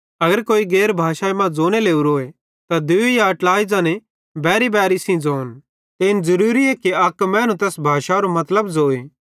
अगर कोई गैर भाषाई मां ज़ोने लोरोए त दूई या ट्लाई ज़ने बैरीबैरी सेइं ज़ोन ते इन ज़रूरी कि अक मैनू तैस भाषारो मतलब ज़ोए